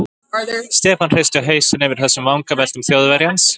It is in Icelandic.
Stefán hristi hausinn yfir þessum vangaveltum Þjóðverjans.